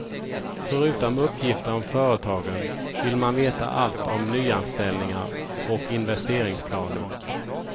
Förutom uppgifter om företagen vill man veta allt om nyanställningar och investeringsplaner.